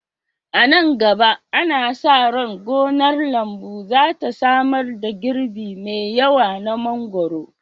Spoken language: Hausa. A nan gaba, ana sa ran gonar lambu za ta samar da girbi mai yawa na mangwaro